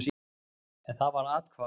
En það var athvarf.